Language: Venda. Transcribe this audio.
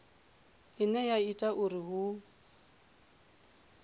ine ya ita uri hu